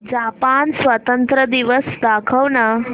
Japan स्वातंत्र्य दिवस दाखव ना